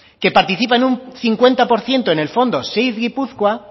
que participa en un cincuenta por ciento en el fondo seed gipuzkoa